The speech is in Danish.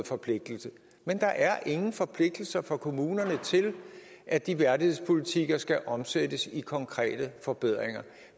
forpligtelse men der er ingen forpligtelser for kommunerne til at de værdighedspolitikker skal omsættes i konkrete forbedringer